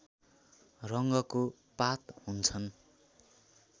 रङ्गको पात हुन्छन्